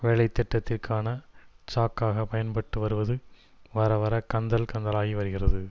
வேலைத்திட்டத்திற்கான சாக்காக பயன்பட்டு வருவது வரவர கந்தல் கந்தலாகி வருகிறது